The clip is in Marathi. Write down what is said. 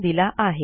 यांनी दिलेला आहे